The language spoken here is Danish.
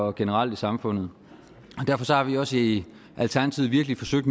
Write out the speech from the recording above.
og generelt i samfundet derfor har vi også i alternativet virkelig forsøgt